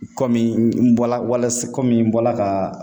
Komi n bɔla walasa komi n bɔla ka